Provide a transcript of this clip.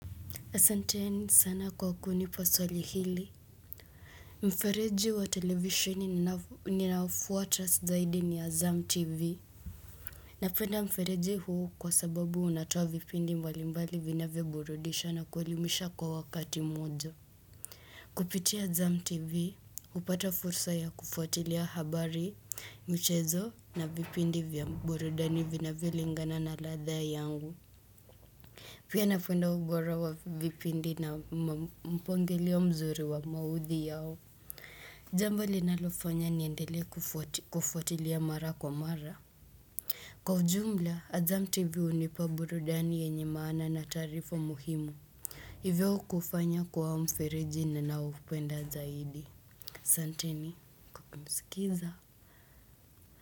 Asantei sana kwa kunipa swali hili Mfereji wa televishwini ninaofuta zaidi ni azam tv Napenda mfereji huu kwa sababu unatoa vipindi mbali mbali vinavyoburudisha na kuelimisha kwa wakati moja Kupitia azam tv hupata fursa ya kufuatilia habari michezo na vipindi vya burudani vinavyolingana na ladha yangu Pia napeda ubora wa vipindi na mpangilio mzuri wa maudhui yao. Jambo linalofanya niendelee kufuatilia mara kwa mara. Kwa ujumla, Azam TV hunipa burudani yenye maana na taarifa muhimu. Hivyo kufanya kwa mfereji ninanaoupenda zaidi. Asanteni, kwa kunisikiza.